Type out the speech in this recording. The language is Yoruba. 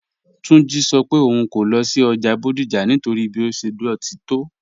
Túnjí́ sọ́ pé ọ̀un kò lọ sí ọ́jà Bodija nítorí bí ó ṣẹ̀ dọ́tí tó